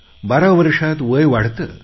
बारा वर्षात वय वाढतं